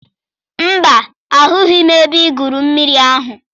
Mba, ahụghị m ebe igwu mmiri ahụ.